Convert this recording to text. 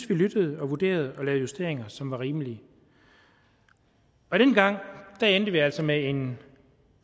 vi lyttede og vurderede og lavede justeringer som var rimelige dengang endte vi altså med en